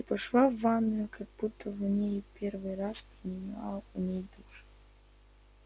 и пошла в ванную как будто не в первый раз принимала у меня душ